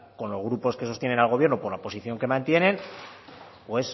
con los grupos que sostienen al gobierno por la posición que mantienen pues